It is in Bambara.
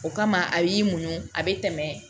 O kama a y'i muɲu a bɛ tɛmɛ